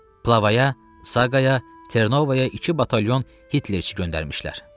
Plavaya, Saqaya, Ternovaya iki batalyon Hitlerçi göndərmişlər.